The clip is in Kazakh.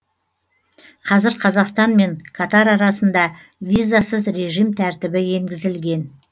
қазір қазақстан мен катар арасында визасыз режим тәртібі енгізілген